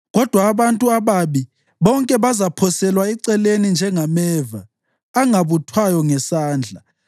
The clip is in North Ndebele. Kodwa abantu ababi bonke bazaphoselwa eceleni njengameva, angabuthwayo ngesandla.